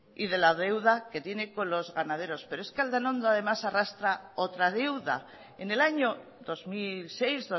y de la deuda que tiene con los ganaderos pero es que aldanondo además arrastra otra deuda en el año dos mil seis